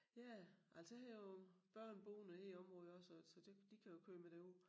Ja altså jeg har jo børn boende her i området også så det de kan jo køre mig derud